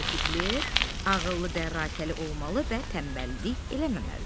Aydındır, Piqlet, ağıllı dərrakəli olmalı və tənbəllik eləməməlisən.